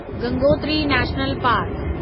Gangotri national park